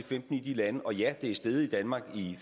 femten i de lande og ja det er steget i danmark i